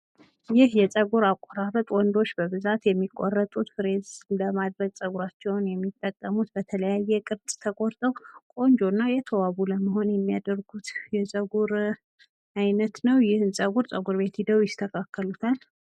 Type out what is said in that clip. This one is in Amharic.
ይህ የጸጉር አቆራረጥ ወንዶች በብዛት የሚቆረጡት ፍሬዝ ለማድረግ ጸጉራቸዉን የሚጠቀሙት በተለያየ ቅርጽ ተቆርጠዉ ቆንጆ እና የተዋቡ ለመሆን የሚያደርጉት የጸጉር አይነት ነው ፤ ይህን ጸጉር ፤ ጸጉርቤት ሄደዉ ይቆረጡታል።